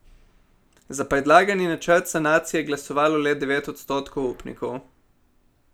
Za predlagani načrt sanacije je glasovalo le devet odstotkov upnikov.